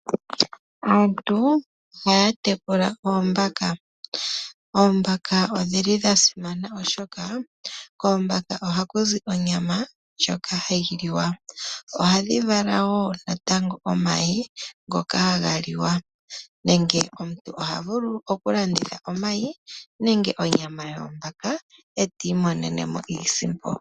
Aantu ohaya tekula oombaka, oombaka odhili dha simana, oshoka koombaka ohaku zi onyama ndjoka hayi liwa. Ohadhi vala wo natango omayi ngoka haga liwa nenge omuntu oha vulu oku landitha omayi nenge onyama yoombaka e ti imonene mo iisimpo.